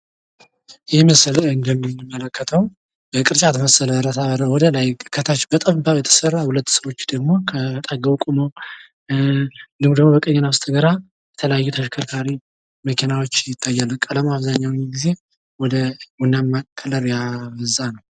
ይህ ምስል እንደሚያመለክተው በቅርጫት መሰል ብረታ ብረት የተሰራ ወደ ላይ ወይም ከታች ቅርጫት የሚመስል ነገር ሲሆን በቀኝና በግራ በኩል መኪናዎች የሚታዩ ሲሆን ብዙ ጊዜ ቡናማ ቀለም አላቸው።